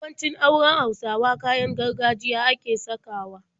Yawancin auren Hausawa kayan gargajiya ake sakawa.